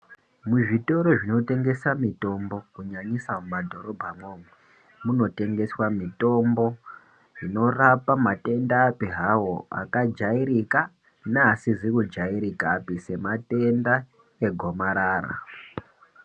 Muzvitoro zvinotengesa mitombo kunyanyisa mumadhorobha umwomwo, munotengeswa mitombo inorapa matendapi hawo akajairika neasizi kujairikapi sematenda egomarara.